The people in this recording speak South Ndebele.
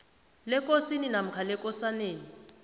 lekosini namkha lekosaneni